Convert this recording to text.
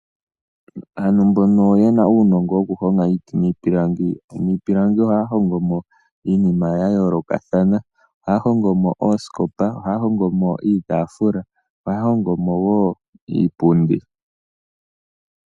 Aantu mboka yena uunongo woku honga iiti miipilangi, miipilangi ohaya hongomo iinima ya yoolokathana. Ohaya hongomo ooskopa, ohaya hongomo iitafuula, ohaya hongomo woo iipundi.